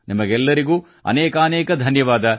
ನಿಮಗೆಲ್ಲರಿಗೂ ಅನೇಕಾನೇಕ ಧನ್ಯವಾದ